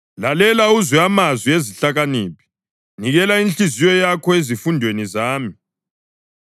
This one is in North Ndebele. Lalela uzwe amazwi ezihlakaniphi; nikela inhliziyo yakho ezifundweni zami,